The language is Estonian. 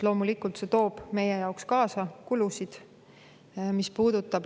Loomulikult see toob meie jaoks kaasa kulusid.